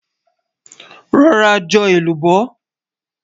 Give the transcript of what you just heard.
rò rà jò èlùbọ́